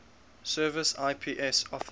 service ips officer